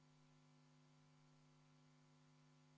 V a h e a e g